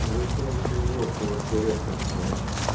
вы короче уебки вообще редкостные